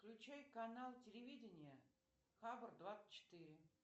включай канал телевидение хабар двадцать четыре